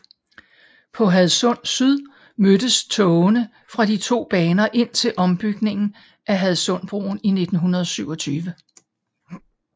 På Hadsund Syd mødtes togene fra de to baner indtil ombygningen af Hadsundbroen i 1927